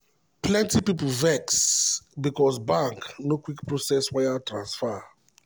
plenty people vex because bank no quick process wire transfer.